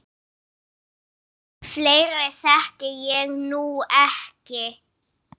Fleiri þekki ég nú ekki.